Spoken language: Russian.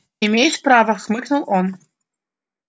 имеешь право хмыкнул он